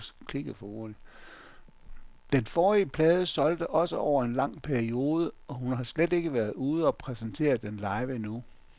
Den forrige plade solgte også over en lang periode, og hun har slet ikke været ude og præsentere den live endnu.